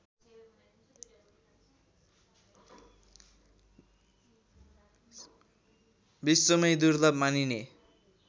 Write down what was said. विश्वमै दुर्लभ मानिने